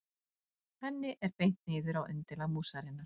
Henni er beint niður á undirlag músarinnar.